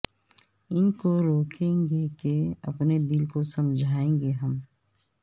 ا ن کو روکیں گے کہ اپنے دل کو سمجھائیں گے ہم